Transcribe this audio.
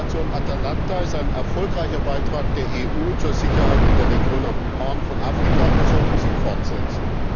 Die Operation Atalanta ist ein erfolgreicher Beitrag der EU zur Sicherheit in der Region am Horn von Afrika, und wir sollten sie fortsetzen.